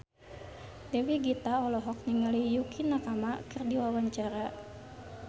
Dewi Gita olohok ningali Yukie Nakama keur diwawancara